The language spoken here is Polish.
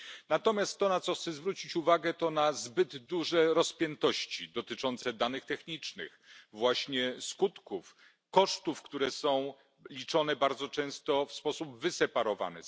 Natomiast to, na co chcę zwrócić uwagę, to zbyt duże rozpiętości dotyczące danych technicznych, właśnie skutków, kosztów, które są liczone bardzo często w sposób wyseparowany.